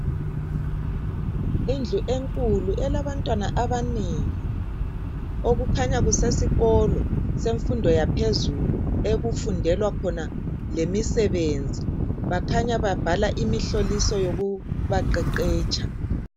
Indlu enkulu elabantwana abanengi kukhanya kusesikolo semfundo yaphezulu okufundela khona lemisebenzi kukhanya babhala imihloliso yokuba qeqetsha.